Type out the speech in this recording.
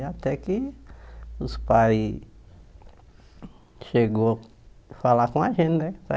Até que os pais chegaram a falar com a gente, né?